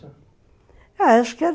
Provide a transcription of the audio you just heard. Ah, acho que era